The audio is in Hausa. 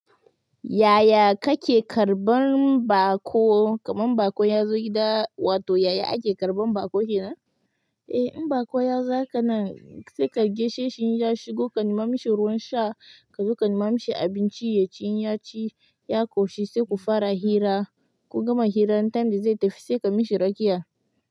Yaya kake karɓan baƙo? Kamar baƙo ya zo gida, wato yaya ake karɓan baƙo kenan? Eh in baƙo ya za ka nan, sai ka gaishe shi, ya shigo, ka nema mashi ruwan sha, ka zo ka nema mashi abinci ya ci. In ya ci, ya ƙoshi, sai ku fara hira, kun gama hira, lokacin da zai tafi sai ka mishi rakiya.